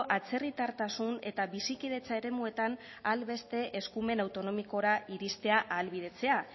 atzerritartasun eta bizikidetza eremuetan ahal beste eskumen autonomikora iristea ahalbidetzea